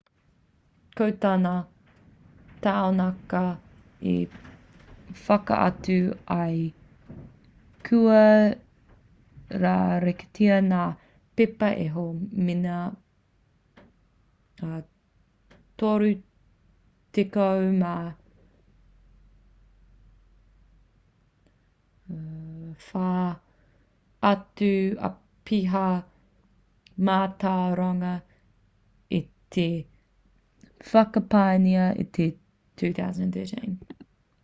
ko tā ngā taunakitanga i whakatau ai kua rāweketia ngā pepa e hall me ngā 34 atu apiha mātauranga i whakapaengia i te 2013